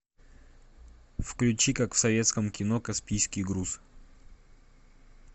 включи как в советском кино каспийский груз